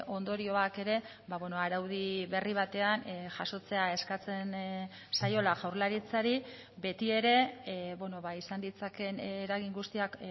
ondorioak ere araudi berri batean jasotzea eskatzen zaiola jaurlaritzari betiere izan ditzakeen eragin guztiak